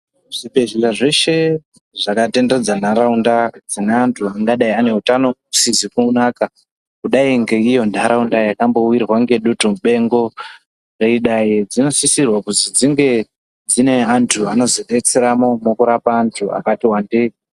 Zvibhedhlera zvese zvakatenderedza ntaraunda dzineantu angadai aneutano usizikunaka kudai ngeiyo ntaraunda yakambowirwa ngedutumupengo zveidai dzinosisirwa kuzi dzinge dzine antu anozodetseramo mukurapa antu akatiwandei.